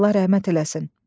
Allah rəhmət eləsin.